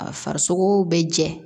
A farisogo bɛ jɛ